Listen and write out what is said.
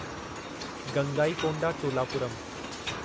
Gangaikonda Cholapuram